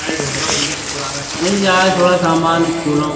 مل جائے تھوڈا سامان سچولو --